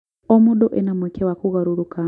O mũndũ ena mweke wa kũgarũrũka